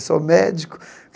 Eu sou médico.